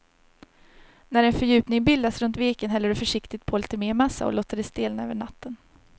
När en fördjupning bildats runt veken häller du försiktigt på lite mer massa och låter det stelna över natten.